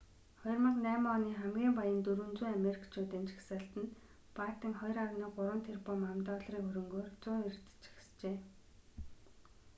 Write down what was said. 2008 оны хамгийн баян 400 америкчуудын жагсаалтад баттен 2,3 тэрбум ам.долларын хөрөнгөөр 190-рт жагсжээ